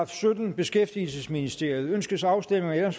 syttende beskæftigelsesministeriet ønskes afstemning om